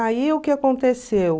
Aí o que aconteceu...